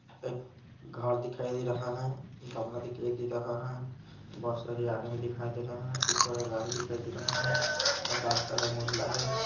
एक घर दिखाई दे रहा है गमला दिखाई दे रहा है बहुत सारे आदमी दिखाई दे रहे हैं ऊपर गाड़ी दिखाई दे रहा है आकाश का रंग उजला है।